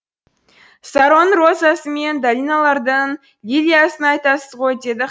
саронның розасы мен долиналардың лилиясын айтасыз ғой деді